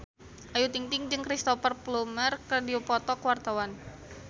Ayu Ting-ting jeung Cristhoper Plumer keur dipoto ku wartawan